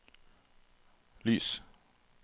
lys